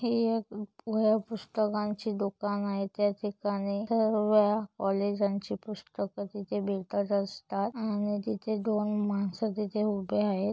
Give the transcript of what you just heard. हे एक वह्या पुस्तकांची दुकान आहेत त्या ठिकाणी सर्व्ह कॉलेजानची पुस्तक तिथे भेटत असतात आणि तिथे दोन माणस तिथे उभे आहे.